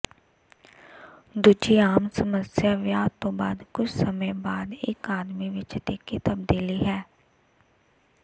ਦੂਜੀ ਆਮ ਸਮੱਸਿਆ ਵਿਆਹ ਤੋਂ ਬਾਅਦ ਕੁਝ ਸਮੇਂ ਬਾਅਦ ਇਕ ਆਦਮੀ ਵਿਚ ਤਿੱਖੀ ਤਬਦੀਲੀ ਹੈ